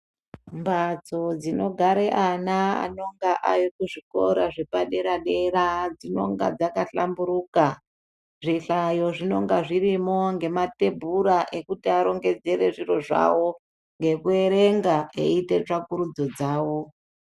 Mbatso dzinogara ana anonga arikuzvikora zvepadera-dera dzinonga dzakahlamburuka. Zvihlayo zvinonga zvirimo ngematebhura ekuti arongedzere zviro zvavo, ngekuverenga eiite tsvakurudzo dzavo.